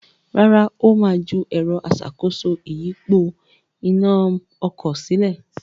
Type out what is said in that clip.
Rárá, Ó ma ju “ẹ̀rọ aṣàkóso ìyípo iná” sílẹ̀